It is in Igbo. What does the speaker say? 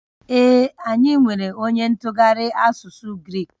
Ee, anyị nwere onye ntụgharị asụsụ Grik